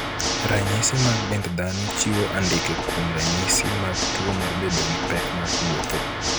Ranysis mag dend dhano chiwo andike kuom ranyisi mag tuo mar bedo gi pek mar wuotho.